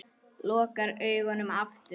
Lokar augunum aftur.